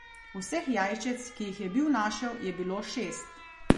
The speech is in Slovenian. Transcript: Vseh jajčec, ki jih je bil našel, je bilo šest.